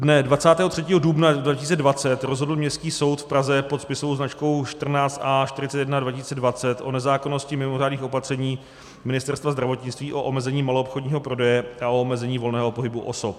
Dne 23. dubna 2020 rozhodl Městský soud v Praze pod spisovou značkou 14 A 41/2020 o nezákonnosti mimořádných opatření Ministerstva zdravotnictví o omezení maloobchodního prodeje a o omezení volného pohybu osob.